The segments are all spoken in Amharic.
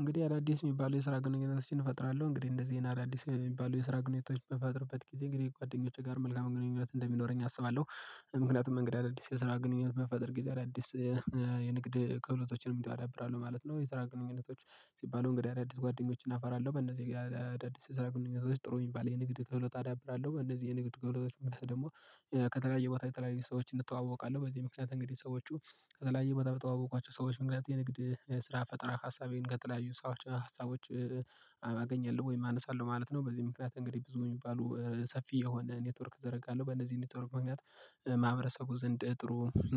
እንግዲህ አዳዲስ የሚባሉ የስራ ግንኙነት እንፈጥራለሁ። እንግዲህ እንነዚህ ይሄን አዳዲስ የሚባለው የስራ ግኑኝነቶች በምፈጥርበት ጊዜ ከጓደኞቼ ጋር መልካም ግንኙነት እንደሚኖረኝ አስባለሁ። ምክንያቱም እንግዲህ አዳዲስ የስራ ግንኙነት በምፈጥር ጊዜ አዳዲስ የንግድ ከህሎቶችንም እንዲሁ አዳብራለሁ ማለት ነው። የስራ ግንኙነቶች ሲባሉ እንግዲህ አዳዲስ ጓደኞችን አፈራለሁ። በእነዚህ የአዳዲስ የስራ ግንኙነቶች ጥሩ የሚባል የንግድ ክህሎት አዳብራለሁ። እንነዚህ የንግድ ክህሎቶች መልስ ደግሞ ከተለያየ ቦታ የተለያየ ሰዎችን እተዋወቃለሁ። በዚህ ምክንያት እንግዲህ ሰዎቹ ከተለያየ ቦታ በተዋወቋቸው ሰዎች የንግድ ስራ ፈጠራ ሀሳቤን ከተለያዩ ሰዎች ሀሳቦች አገኛሁ ወይ አነሳለሁ ማለት ነው። በዚህ ምክንያት እንግዲህ ብዙ የሚባሉ ሰፊ የሆነ ኔትወርክ ዘረጋለሁ። በእነዚህ ኔትወርክ መንገድ ማህበረሰቡ ዘንድ ጥሩ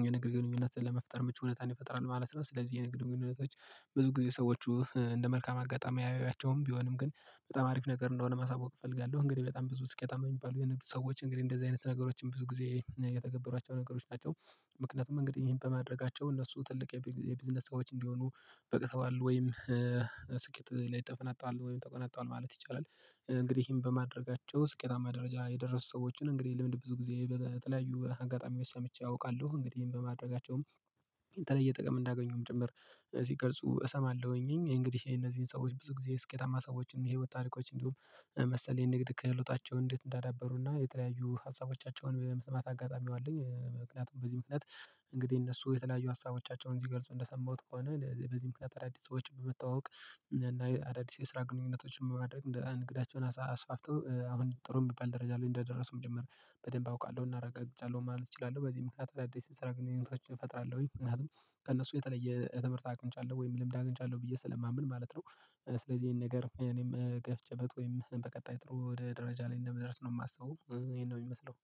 የንግድ ግንኙነትን ለመፍጠር ምቹ ሁኔታን ይፈጥራሉ ማለት ነው። ስለዚህ የንግድ ግንኙነቶች ብዙ ጊዜ ሰዎቹ እንደ መልካም አጋጣሚ አያዩያቸውም ቢሆንም ግን በጣም አሪፍ ነገር እንደሆነ ማሳወቅ እፈልጋለሁ። እንግዲህ በጣም ብዙ ስኬታማ የሚባሉ የንግድ ሰዎች እንግዲህ እንደዚህ አይነት ነገሮችን ብዙ ጊዜ እየተገበሯቸው ነገሮች ናቸው ምክንያቱም እንግዲህ ይሄን በማድረጋቸው እነሱ ትልቅ የቢዝነስ ሰዎች እንዲሆኑ በቅተዋል ወይም ስኬት ላይ ተፈናጠዋል ወይም ተቆናጠዋል ማለት ይቻላል። እንግዲህም በማድረጋቸው ስኬታማ ደረጃ የደረሱ ሰዎችን እንግዲህ ልምድ ብዙ ጊዜ በተለያዩ አጋጣሚ ወስደምቼ አውቃለሁ እንግዲህ ይሄን በማድረጋቸውም የተለየ ጥቅም እንዳገኙም ጭምር ሲገልጹ እሰማለሁኝ። እንግዲህ እነዚህን ሰዎች ብዙ ጊዜ ስኬታማ ሰዎችን የህይወት ታሪኮች እንዲሁም መሰል የንግድ ከሎታቸው እንዴት እንዳዳበሩና የተለያዩ ሀሳቦቻቸውን የመስማት አጋጣሚው አለኝ ምክንያቱም በዚህ ምክንያት እንዲህ እነሱ የተለያዩ ሀሳቦቻቸውን ሲገልጹ እንደሰማሁት ከሆነ በዚህ ምክንያት አዳዲስ ሰዎች በመተዋወቅ እና አዳዲስ የስራ ግንኙነቶችን ማድረግ ንግዳቸውን አስፋፍተው አሁን ጥሩ የሚባል ደረጃ ላይ እንደደረሱም ጭምር። በደንብ አውቃለሁ። እና አረጋግጫለሁ ማለት እችላለሁ። በዚህ ምክንያት አዳዲስ የስራ ግንኙነቶች እፈጥራለሁ። ምክንያቱም ከእነሱ የተለየ ትምህርት አግኝቻለሁ ሁ ወይም ልምድ አግኝቻለሁ ብዬ ስለማምን ማለት ነው። ስለዚህ ይሄን ነገር እኔም ገፍቼበት ወይም በቀጣይ ጥሩ ወደ ደረጃ ላይ እንደምደርስ ነው የማስበው ይሄን ነው የሚመስለው